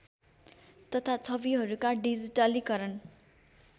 तथा छविहरूका डिजिटलीकरण